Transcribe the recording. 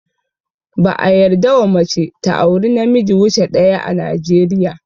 Ba a yarda wa mace ta auri na miji wuce daya ã Najeriya.